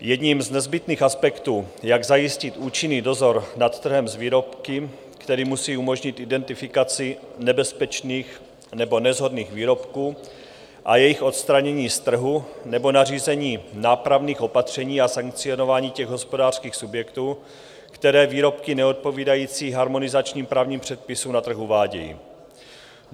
Jedním z nezbytných aspektů, jak zajistit účinný dozor nad trhem s výrobky, který musí umožnit identifikaci nebezpečných nebo neshodných výrobků a jejich odstranění z trhu nebo nařízení nápravných opatření a sankcionování těch hospodářských subjektů, které výrobky neodpovídající harmonizačním právním předpisům na trh uvádějí.